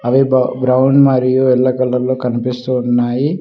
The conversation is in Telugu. అవి బ్రౌన్ మరియు యెల్లో కలర్ లో కనిపిస్తూ ఉన్నాయి.